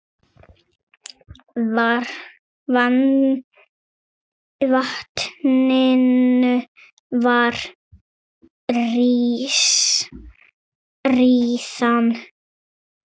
Vatninu var síðan hellt frá.